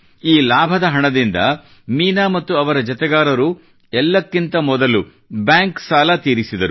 ಈ ಲಾಭದ ಹಣದಿಂದ ಮೀನಾ ಮತ್ತು ಅವರ ಜತೆಗಾರರು ಎಲ್ಲಕ್ಕಿಂತ ಮೊದಲು ಬ್ಯಾಂಕ್ ಸಾಲ ತೀರಿಸಿದರು